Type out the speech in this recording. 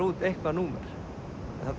út eitthvað númer þarna